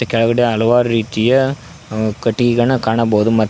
ಕೆಳಗಡೆ ಹಲವಾರು ರೀತಿಯ ಕಟ್ಟಿಗೆಗನ ಕಾಣಬಹುದು ಮತ್ತ --